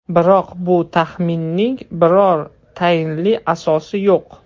Biroq bu taxminning biror tayinli asosi yo‘q.